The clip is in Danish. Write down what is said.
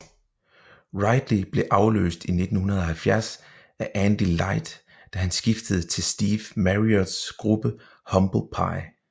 Ridley blev afløst i 1970 af Andy Leight da han skiftede til Steve Marriotts gruppe Humble Pie